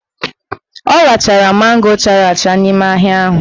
Ọ rachara mango chara acha n'ime ahịa ahụ